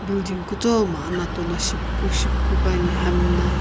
building kutomo anato la shipuku shipuku puani hami na.